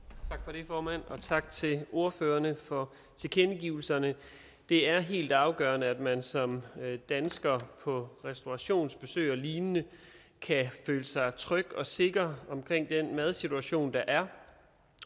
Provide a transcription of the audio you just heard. det formand og tak til ordførerne for tilkendegivelserne det er helt afgørende at man som dansker på restaurationsbesøg og lignende kan føle sig tryg og sikker ved den madsituation der er